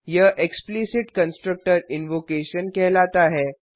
यह explicit constructor invocation कहलाता है